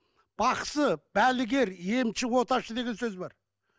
бақсы балгер емші оташы деген сөз бар